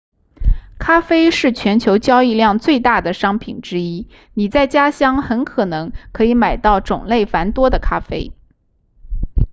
咖啡是全球交易量最大的商品之一你在家乡很可能可以买到种类繁多的咖啡